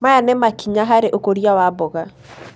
Maya nĩ makinya harĩ ũkũria wa mboga.